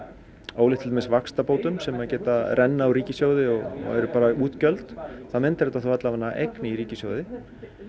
ólíkt til dæmis vaxtabótum sem renna úr ríkissjóði og eru bara útgjöld þá myndar þetta allavega eign í ríkissjóði